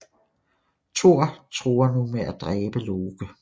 Thor truer nu med at dræbe Loke